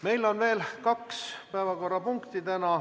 Meil on täna veel kaks päevakorrapunkti.